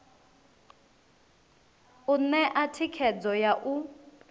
u ṋea thikhedzo ya u